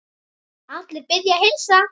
Allir biðja að heilsa.